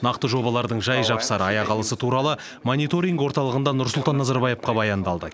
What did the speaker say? нақты жобалардың жай жапсары аяқалысы туралы мониторинг орталығында нұрсұлтан назарбаевқа баяндалды